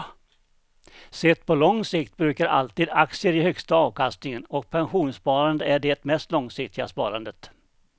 Sett på lång sikt brukar alltid aktier ge högsta avkastningen och pensionssparande är det mest långsiktiga sparandet.